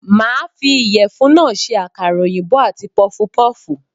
Màá fi ìyèfun náà se àkàrà òyìnbó àti pufupúfù